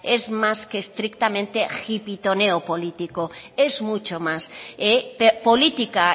es más que estrictamente político es mucho más política